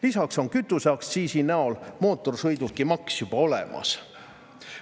Lisaks on kütuseaktsiisi näol mootorsõidukimaks juba olemas.